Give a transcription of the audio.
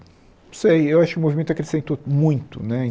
Não sei, eu acho que o movimento acrescentou muito, né?